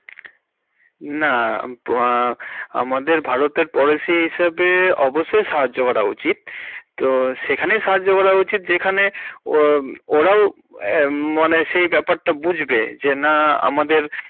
না হমম আমাদের ভারতের policy হিসাবে অবশই সাহায্য করা উচিত, তো সেখানেই সাহায্য করা উচিত যেখানে ওরাও সেই ব্যাপারটা বুঝবে যে না আমাদের।